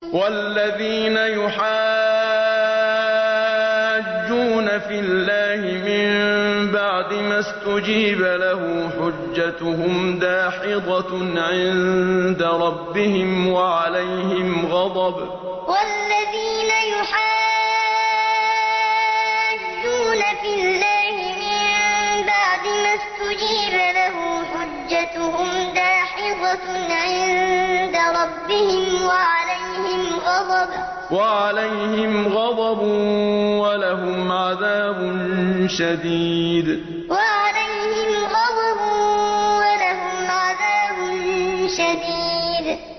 وَالَّذِينَ يُحَاجُّونَ فِي اللَّهِ مِن بَعْدِ مَا اسْتُجِيبَ لَهُ حُجَّتُهُمْ دَاحِضَةٌ عِندَ رَبِّهِمْ وَعَلَيْهِمْ غَضَبٌ وَلَهُمْ عَذَابٌ شَدِيدٌ وَالَّذِينَ يُحَاجُّونَ فِي اللَّهِ مِن بَعْدِ مَا اسْتُجِيبَ لَهُ حُجَّتُهُمْ دَاحِضَةٌ عِندَ رَبِّهِمْ وَعَلَيْهِمْ غَضَبٌ وَلَهُمْ عَذَابٌ شَدِيدٌ